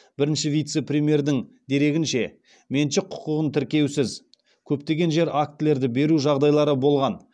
бірінші вице премьердің дерегінше меншік құқығын тіркеусіз көптеген жер актілерді беру жағдайлары болған